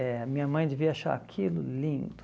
É, minha mãe devia achar aquilo lindo.